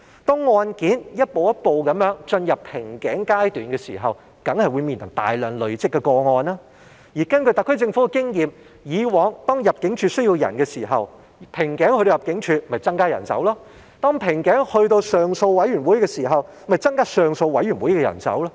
當案件一步一步的進入瓶頸階段的時候，當然會面臨大量累積的個案，而根據特區政府的經驗，以往當入境事務處需要人手，瓶頸在入境處的時候，入境處就會增加人手；當瓶頸在上訴委員會的時候，就會增加上訴委員會的人手。